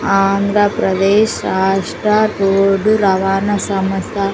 ఆంధ్ర ప్రదేశ్ రాష్ట్ర రోడ్డు రవాణా సంస్థ.